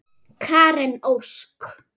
Karen Ósk.